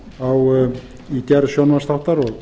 stofnkostnað í gerð sjónvarpsþáttar og